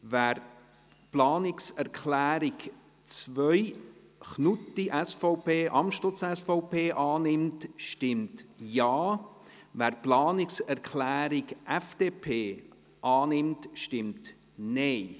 Wer die Planungserklärung 2, Knutti/SVP und Amstutz/SVP, annimmt, stimmt Ja, wer die Planungserklärung FDP annimmt, stimmt Nein.